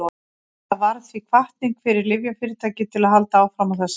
þetta varð því hvatning fyrir lyfjafyrirtæki til að halda áfram á þessari braut